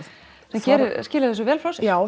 sem skilar þessu vel frá sér já